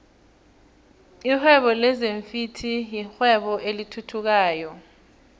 lihwebo lezinfhvthi yirwebo elithuthukayo flhe